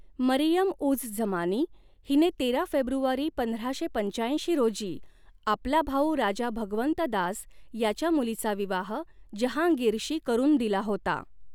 मरीयम उझ झमानी हिने तेरा फेब्रुवारी पंधराशे पंचाऐंशी रोजी आपला भाऊ राजा भगवंत दास याच्या मुलीचा विवाह जहांगीरशी करून दिला होता.